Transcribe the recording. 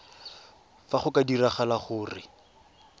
fa go ka diragala gore